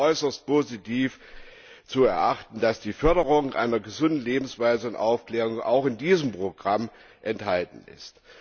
Es ist als äußerst positiv zu erachten, dass die Förderung einer gesunden Lebensweise und Aufklärung auch in diesem Programm enthalten ist.